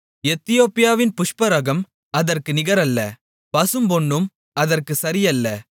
எத்தியோப்பியாவின் புஷ்பராகம் அதற்கு நிகரல்ல பசும்பொன்னும் அதற்குச் சரியல்ல